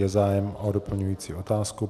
Je zájem o doplňující otázku.